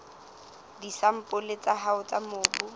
disampole tsa hao tsa mobu